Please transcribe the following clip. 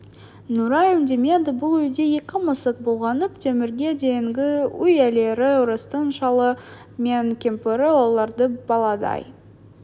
нұрай үндемеді бұл үйде екі мысық болғанын темірге дейінгі үй иелері орыстың шалы мен кемпірі оларды баладай